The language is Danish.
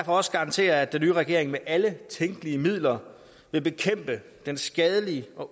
også garantere at den nye regering med alle tænkelige midler vil bekæmpe den skadelige og